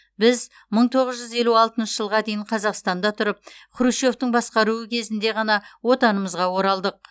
біз мың тоғыз жүз елу алтыншы жылға дейін қазақстанда тұрып хрущевтің басқаруы кезінде ғана отанымызға оралдық